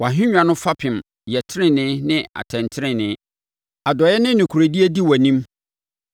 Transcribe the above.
Wʼahennwa no fapem yɛ tenenee ne atɛntenenee; adɔeɛ ne nokorɛdie di wʼanim.